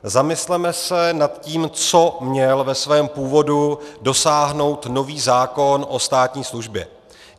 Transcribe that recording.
Zamysleme se nad tím, co měl ve svém původu dosáhnout nový zákon o státní službě.